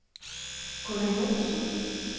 Gunnar Joensen